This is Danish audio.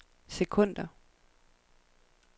sekunder